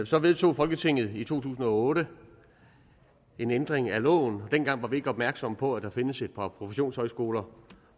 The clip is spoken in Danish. så vedtog folketinget i to tusind og otte en ændring af loven og dengang var vi ikke opmærksomme på at der findes et par professionshøjskoler